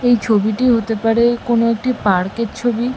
এই ছবিটি হতে পারে কোনো একটি পার্ক -এর ছবি।